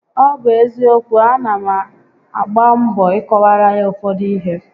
Ọ bụ eziokwu, a na m agba mbọ I kọwaara ya ụfọdụ ihé